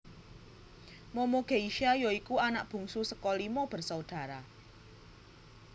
Momo Geisha ya iku anak bungsu saka limo bersaudara